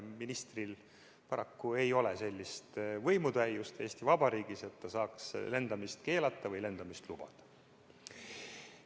Ministril ei ole paraku sellist võimutäiust Eesti Vabariigis, et ta saaks lendamist keelata või lubada.